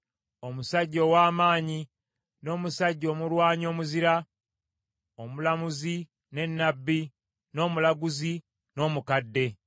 Omusajja ow’amaanyi, n’omusajja omulwanyi omuzira, omulamuzi, ne nnabbi, n’omulaguzi, n’omukadde.